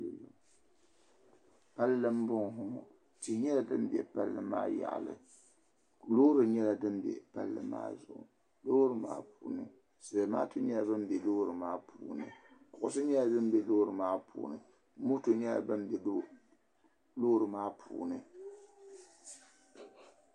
Palli mbɔŋɔ tihi nyɛla dini bɛ palli maa yaɣili loori nyɛla din bɛ palli maa Zuɣu loori maa puuni zamatu nyɛla bam bɛ loori maa puuni kuɣisi nyɛla dimbɛ loori maa puuni moto nyɛla dimbɛ loori maa puuni.